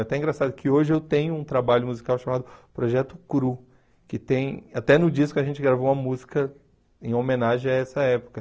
É até engraçado que hoje eu tenho um trabalho musical chamado Projeto CRU, que tem, até no disco a gente gravou uma música em homenagem a essa época.